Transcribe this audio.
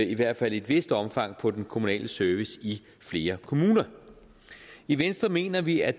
i hvert fald i et vist omfang på den kommunale service i flere kommuner i venstre mener vi at